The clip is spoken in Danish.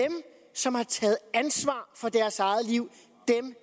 som har taget ansvar for deres eget liv